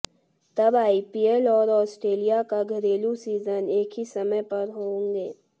तब आईपीएल और ऑस्ट्रेलिया का घरेलू सीजन एक ही समय पर होंगे